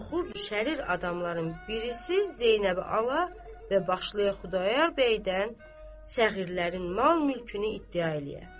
Qorxu düşəlir adamların birisi Zeynəbi ala və başlayıb Xudayar bəydən səğirlərin mal-mülkünü iddia eləyə.